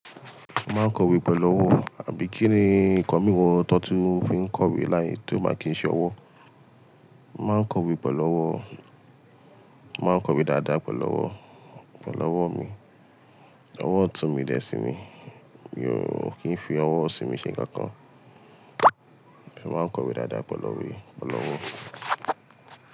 Maa n kowe pélu ọ́wọ́, àbí kí ni ǹkan mìíràn tó tíì ń fí ń kọ̀wé láì tíì bá kí ń ṣẹ́ ọwọ́. Maa n kọ̀wé pọ̀ lọ́wọ́, maa n kọ̀wé dáadáa pe lọ́wọ́, pe lọ́wọ́ mi. Ọwọ́ ọ̀tún mi dẹ sí ni, mi ò kí ń fi ọwọ́ ọ̀sí mi ṣe nǹkan kan. Èmi máa n kọ̀wé dáadáa pọ̀ lọ rí, pọ̀ lọ́wọ́.